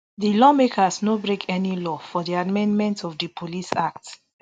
di lawmakers no break any law for di amendment of di police act